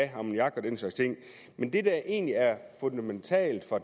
have ammoniak og den slags ting men det der egentlig er fundamentalt for